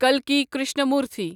کلکی Krishnamurthy